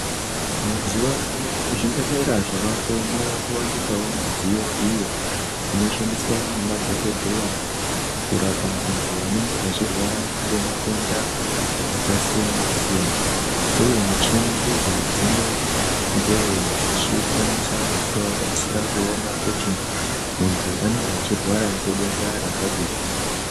Mazuwa ano muzvibhedhlera zvawako mwakuwanikwawo mudziyo iyo inoshandiswe ngemadhokodheya kurapa antu anenga echirwara ngematenda akasiyana siyana . Uye michini idzi dzinongewo dzichikwanisa kutoabatsira kuone kuti muntu anenge echirwara ngedenda rakadini.